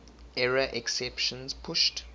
error exceptions pushed